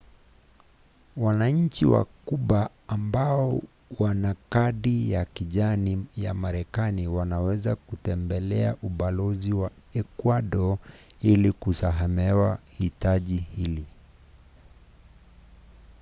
wananchi wa kuba ambao wana kadi ya kijani ya marekani wanaweza kutembelea ubalozi wa ekuado ili kusamehewa hitaji hili